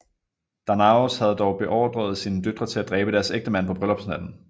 Danaos havde dog beordret sine døtre til at dræbe deres ægtemænd på bryllupsnatten